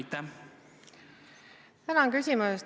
Tänan küsimuse eest!